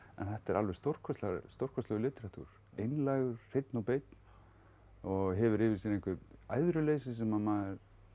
en þetta er alveg stórkostlegur stórkostlegur litteratúr einlægur hreinn og beinn og hefur yfir sér eitthvert æðruleysi sem